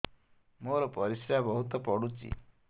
ମୋର ପରିସ୍ରା ବହୁତ ପୁଡୁଚି